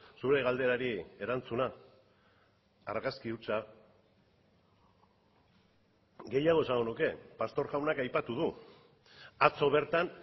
zure galderari erantzuna argazki hutsa gehiago esango nuke pastor jaunak aipatu du atzo bertan